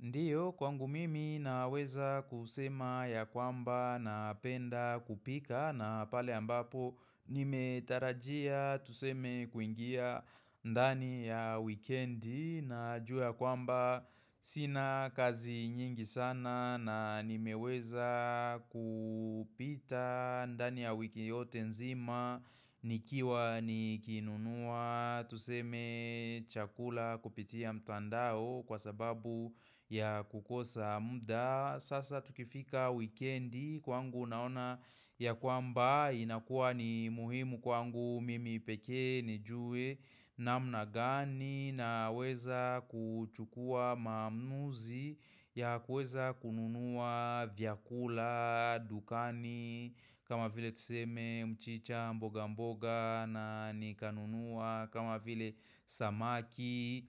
Ndiyo kwangu mimi naweza kusema ya kwamba na penda kupika na pale ambapo nimetarajia tuseme kuingia ndani ya weekend na juu ya kwamba sina kazi nyingi sana na nimeweza kupita ndani ya wiki yote nzima nikiwa nikinunua Tuseme chakula kupitia mtandao kwa sababu ya kukosa mda. Sasa tukifika weekendi kwangu naona ya kwamba inakuwa ni muhimu kwangu mimi pekee nijue namna gani na weza kuchukua maamuzi ya kuweza kununua vyakula, dukani kama vile tuseme mchicha mboga mboga na nikanunuwa kama vile samaki,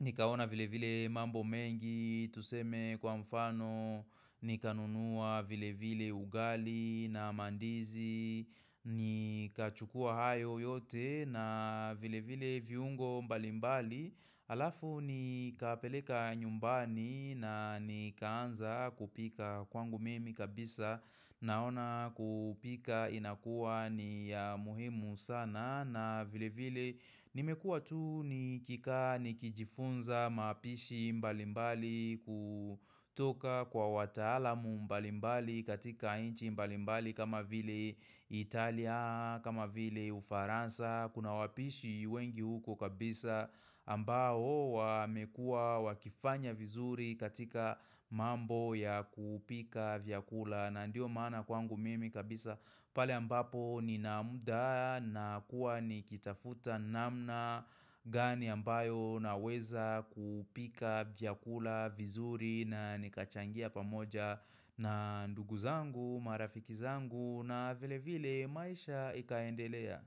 nikaona vile vile mambo mengi Tuseme kwa mfano, nikanunuwa vile vile ugali na mandizi Nikachukua hayo yote na vile vile viungo mbalimbali Alafu nikapeleka nyumbani na nikaanza kupika kwangu mimi kabisa Naona kupika inakua ni ya muhimu sana na vile vile nimekua tu nikikaa nikijifunza mapishi mbalimbali kutoka kwa wataalamu mbalimbali katika inchi mbalimbali kama vile Italia kama vile Ufaransa Kuna wapishi wengi huko kabisa ambao wamekuwa wakifanya vizuri katika mambo ya kupika vyakula. Na ndio maana kwangu mimi kabisa pale ambapo Nina muda na kuwa nikitafuta namna gani ambayo naweza kupika vyakula vizuri na nikachangia pamoja na ndugu zangu, marafiki zangu na vile vile maisha ikaendelea.